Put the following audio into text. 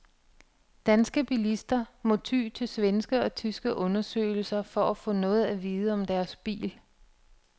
Danske bilister må ty til svenske og tyske undersøgelser for at få noget at vide om deres bil.